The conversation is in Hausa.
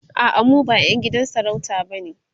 a'a mu ba ƴan gidan sarauta bane